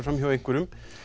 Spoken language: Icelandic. fram hjá einhverjum